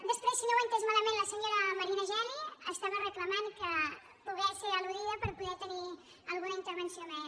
després si no ho he entès malament la senyora marina geli estava reclamant poder ser altenir alguna intervenció més